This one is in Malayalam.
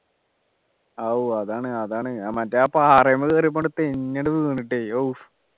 ആവൂ അതാണ് അതാണ് ആ മറ്റേ ആ പാറയുംമേൽ കേറിയപ്പോ ഉണ്ട് തെന്നി അങ്ടു വീണിട്ടെ ആവൂ